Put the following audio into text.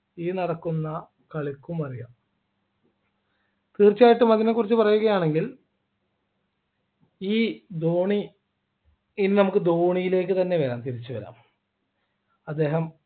ഈ നടക്കുന്ന കളിക്കും അറിയാം തീർച്ചയായിട്ടും അതിനെക്കുറിച്ച് പറയുകയാണെങ്കിൽ ഈ ധോണി ഇനി നമുക്ക് ധോണിയിലേക്ക് തന്നെ വരാം തിരിച്ചു വരാം അദ്ദേഹം